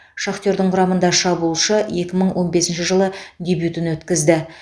шахтердің құрамында шабуылшы екі мың он бесінші жылы дебютін өткізді